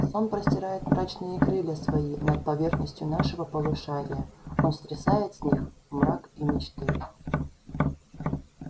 сон простирает мрачныя крылья свои над поверхностью нашего полушария он стрясает с них мрак и мечты